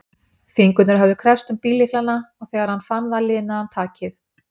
Fingurnir höfðu kreppst um bíllyklana og þegar hann fann það linaði hann takið.